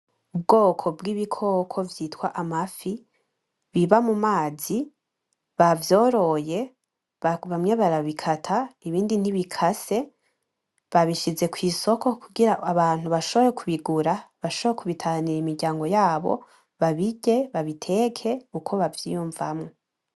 Ubwoko bwibikoko vyitwa amafi biba mumazi bavyoroye bamwe barabikata ibindi ntibikase babishize kwisoko kugira abantu bashobore kubigura bashobore kubitahanira imiryango yabo babirye babiteke uko bavyiyumvamwo.